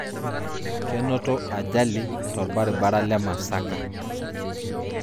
Kenoto ajali te orbaribara le Masaka